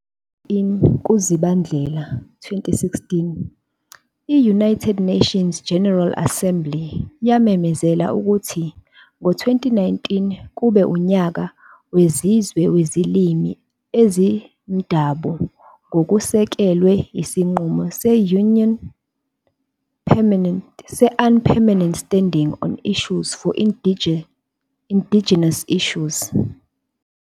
Mhla zi-19 kuZibandlela 2016 i- United Nations General Assembly yamemezela ukuthi ngezi-2019 kube uNyaka wezizwe weziLimi eziMdabu ngokusekelwe isinqumo se- "'UN permanent Standing on issues of indigenous issues.